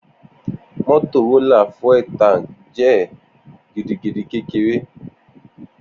Motorola fuel tank jẹ gidigidi kekere.